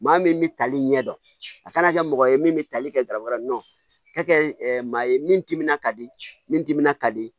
Maa min bɛ tali ɲɛ dɔn a kana kɛ mɔgɔ ye min bɛ tali kɛ garabali nɔ ka kɛ maa ye min timinan ka di ni timinan ka di